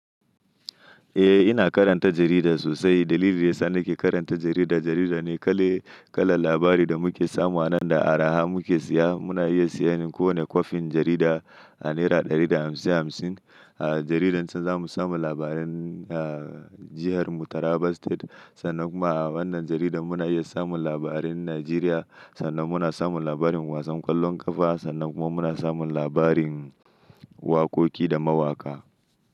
Eh, ina karanta jarida sosai. Dalilin da ya sa nake karanta jarida, jarida ne kala labari da muke samu a nan da araha muke siya. Muna iya siyan kowane kwafin jarida a naira ɗari da hamsin hamsin. A jaridar can za mu samu labaran, ah, jihar mu Taraba state sannan kuma a wannan jarida muna iya samun labarin Najeriya sannan muna samun labarin wasan ƙwallon ƙafa sannan kuma muna samun labarin wakoki da mawaƙa.